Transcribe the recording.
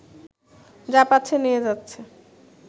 যা পাচ্ছে নিয়ে যাচ্ছে